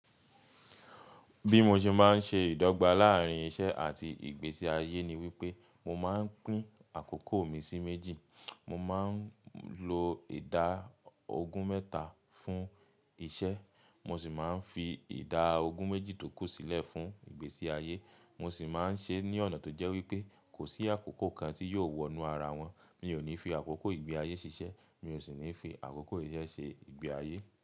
Bí mo ṣe máa ń ṣe ìdọ́gba láàárín iṣẹ́ àti ìgbésí ayé ni wípé mo máa ń pín àkókò mi sí méjì. Mo máa ń lo ìda ogún mẹ́ta fún iṣẹ́, mo sì máa ń fi ìda ogún méjì tó kù sílẹ̀ fún ìgbésí ayé. Mo sì máa ń ṣe é ní ọ̀nà tó jẹ́ wípé kò sí àkókò kan tí yóò wọnú ara wọn. Mi ò ní fi àkókò ìgbé ayé ṣiṣẹ́, mi ò sì ní fi àkókò iṣẹ́ ṣe ìgbé ayé.